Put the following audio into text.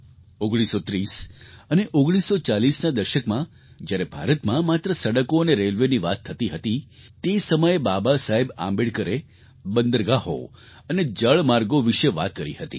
1930 અને 1940ના દશકમાં જ્યારે ભારતમાં માત્ર સડકો અને રેલવેની વાત થતી હતી તે સમયે બાબાસાહેબ આંબેડકરે બંદરગાહો અને જળમાર્ગો વિશે વાત કરી હતી